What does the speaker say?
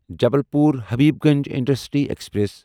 Jabalpur Habibganj intercity express